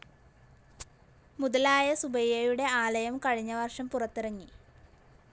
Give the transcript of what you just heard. മുതലായ സുബയ്യയുടെ ആലയം കഴിഞ്ഞ വർഷം പുറത്തിറങ്ങി.